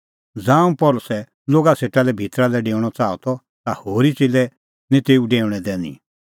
ज़ांऊं पल़सी लोगा सेटा लै भितरा लै डेऊणअ च़ाहअ ता होरी च़ेल्लै निं तेऊ डेऊणैं दैनी